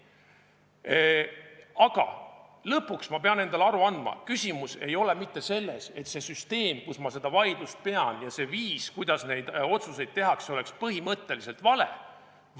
Aga lõpuks ma pean endale aru andma, et küsimus ei ole mitte selles, et see süsteem, kus ma seda vaidlust pean, ja see viis, kuidas neid otsuseid tehakse, oleks põhimõtteliselt vale.